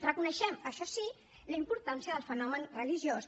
reconeixem això sí la importància del fenomen religiós